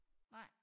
Nej